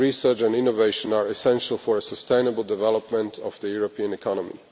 Research and innovation are essential for the sustainable development of the European economy.